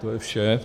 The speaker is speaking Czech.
To je vše.